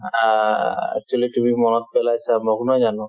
আ আ actually তুমি মনত পেলাইছা মোক নহয় জানো